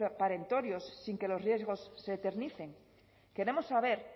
perentorios sin que los riesgos se eternicen queremos saber